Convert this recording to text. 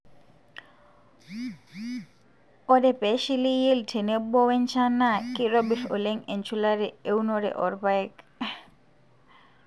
ore pee eshili yield tenebo we nchan naa keitobir oleng enchulare eunore oorpaek